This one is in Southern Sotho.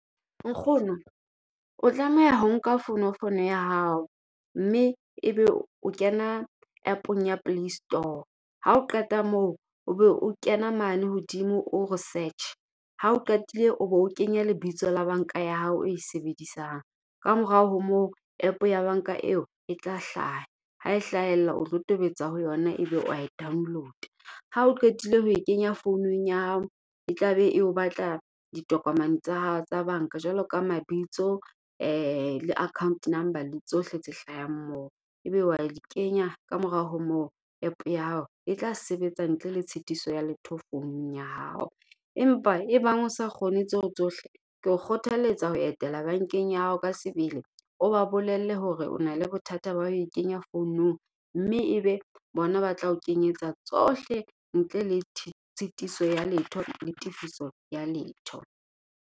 Nkgono o tlameha ho nka fonofono ya hao, mme ebe o kena App-ong ya Play Store. Ha o qeta moo o be o kena mane hodimo o re search, ha o qetile o be o kenya lebitso la banka ya hao eo e sebedisang. Ka morao ho moo App ya banka eo e tla hlaha. Ha e hlahella o tlo tobetsa ho yona ebe wa e download-a. Ha o qetile ho e kenya founung ya hao, e tla be o batla ditokomane tsa hao tsa banka. Jwalo ka mabitso le account number le tsohle tse hlahang moo. Ebe wa di kenya ka morao ho moo App ya hao e tla sebetsa ntle le tshitiso ya letho founung ya hao. Empa e bang o sa kgone tseo tsohle, ke o kgothaletsa ho etela bankeng ya hao ka sebele o ba bolelle hore o na le bothata bah o e kenya founung. Mme ebe bona ba tla ho kenyetsa tsohle ntle le tshitiso ya letho la tifiso ya letho.